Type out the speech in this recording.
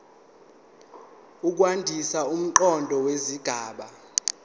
ukwandisa umqondo wesigaba